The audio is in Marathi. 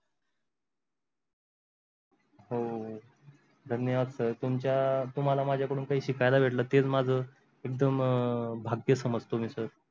हो धन्यवाद sir तुमचा तुम्हाला माझा कडून काही शिकायला भेटल तेच माझ एकदम भाग्य समजतो मी sir.